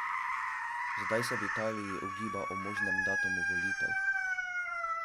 Zdaj se v Italiji ugiba o možnem datumu volitev.